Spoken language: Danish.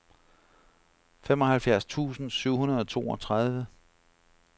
femoghalvfjerds tusind syv hundrede og toogtredive